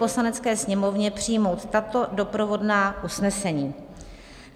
Poslanecké sněmovně přijmout tato doprovodná usnesení: